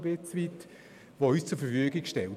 Es ist ein wenig wie bei einem Zahlenlotto.